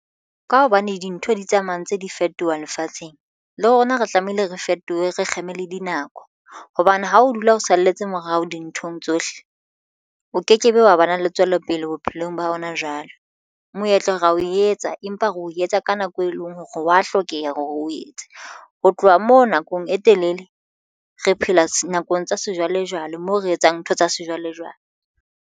Ka hobane dintho di tsamaya ntse di fetoha lefatsheng le rona re tlamehile re fetohe re kgeme le dinako hobane ha o dula o salletse morao dinthong tsohle o ke kebe wa ba na le tswelopele bophelong ba rona jwale. Moetlo oo re o etsa, empa re o etsa ka nako e leng hore wa hlokeha hore o etse ho tloha moo nakong e telele re phela nakong tsa sejwalejwale moo re etsang ntho tsa sejwalejwale.